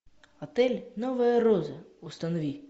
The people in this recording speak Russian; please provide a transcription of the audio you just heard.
отель новая роза установи